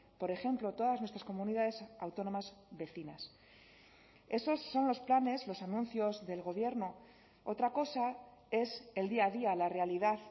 por ejemplo todas nuestras comunidades autónomas vecinas esos son los planes los anuncios del gobierno otra cosa es el día a día la realidad